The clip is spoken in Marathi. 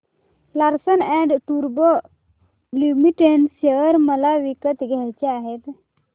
लार्सन अँड टुर्बो लिमिटेड शेअर मला विकत घ्यायचे आहेत